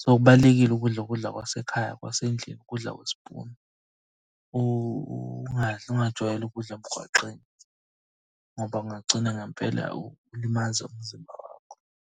So, kubalulekile ukudla ukudla kwasekhaya kwasendlini ukudla kwespunu. Ungadli ungajwayeli ukudla emgwaqeni ngoba ungagcina ngempela ulimaza umzimba wakho.